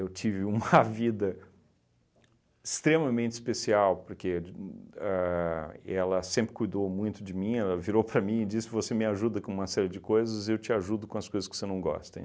tive uma vida extremamente especial porque de ahn ela sempre cuidou muito de mim, ela virou para mim e disse, você me ajuda com uma série de coisas e eu te ajudo com as coisas que você não gosta.